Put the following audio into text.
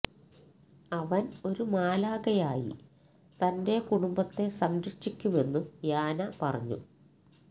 അവന് ഒരു മാലാഖയായി തന്റെ കുടുംബത്തെ സംരക്ഷിക്കുമെന്നും യാന പറഞ്ഞു